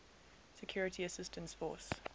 security assistance force